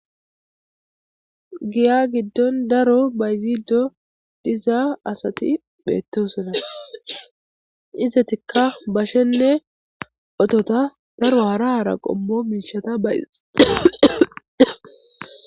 Giyya gidon daro bayzido dizza assathi bethossona. Izzathikka bashenne ottotha daro hara hara qommo mishatha bayzidda.